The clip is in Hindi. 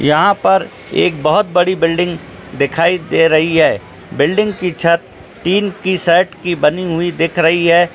यहां पर एक बहुत बड़ी बिल्डिंग दिखाई दे रही है बिल्डिंग की छत टिन की छत की बनी हुई दिख रही है।